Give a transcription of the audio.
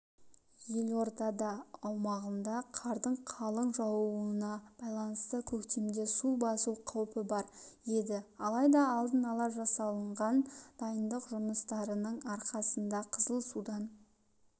елорда аумағында қардың қалың жаууына байланысты көктемде су басу қаупі бар еді алайда алдын ала жасалынған дайындық жұмыстарының арқасында қызыл судан